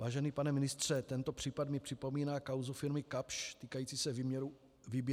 Vážený pane ministře, tento případ mi připomíná kauzu firmy Kapsch týkající se výběru mýta.